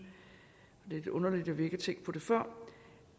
det er underligt at vi ikke har tænkt på det før